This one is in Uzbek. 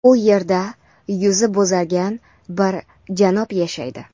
u yerda yuzi bo‘zargan bir janob yashaydi.